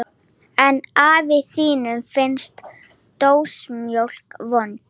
En afa þínum finnst dósamjólk vond.